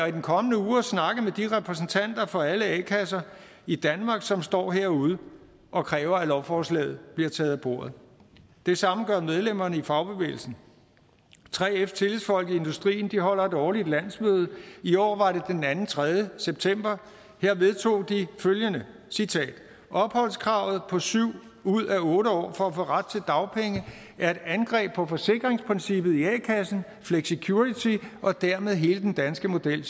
i den kommende uge og snakke med de repræsentanter for alle a kasser i danmark som står derude og kræver at lovforslaget bliver taget af bordet det samme gør medlemmerne i fagbevægelsen 3fs tillidsfolk i industrien holder et årligt landsmøde i år var det den anden tre september her vedtog de følgende opholdskravet på syv ud af otte år for at få ret til dagpenge er et angreb på forsikringsprincippet i a kassen flexicurity og dermed hele den danske model